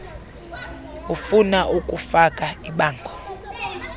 ufuna ukufaka ibango